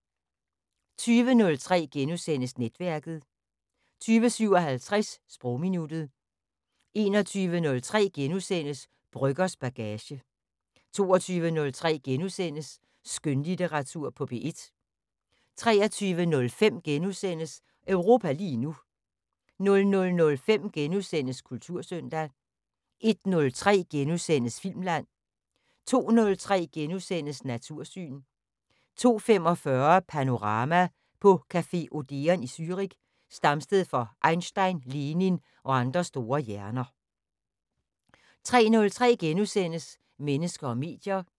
20:03: Netværket * 20:57: Sprogminuttet 21:03: Brøggers bagage * 22:03: Skønlitteratur på P1 * 23:05: Europa lige nu * 00:05: Kultursøndag * 01:03: Filmland * 02:03: Natursyn * 02:45: Panorama: På café Odeon i Zürich, stamsted for Einstein, Lenin og andre store hjerner * 03:03: Mennesker og medier *